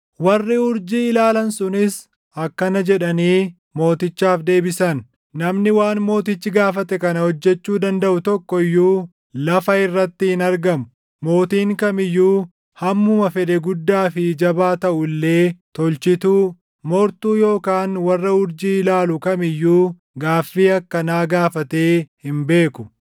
Warri urjii ilaalan sunis akkana jedhanii mootichaaf deebise; “Namni waan mootichi gaafate kana hojjechuu dandaʼu tokko iyyuu lafa irratti hin argamu! Mootiin kam iyyuu hammuma fedhee guddaa fi jabaa taʼu illee tolchituu, moortuu yookaan warra urjii ilaalu kam iyyuu gaaffii akkanaa gaafatee hin beeku.